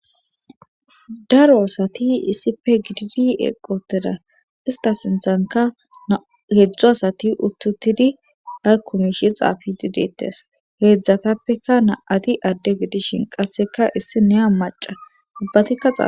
daro asati issife gididi eqqi uttida ista sinthanka heedzdzu asati uttutidi harkumishi xaafi didettes heedzdzatappeka na7ati adde gidishin qasseka issi neya maca ubbatikka xaaf